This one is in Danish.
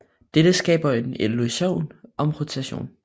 Dette skaber en illusion om rotation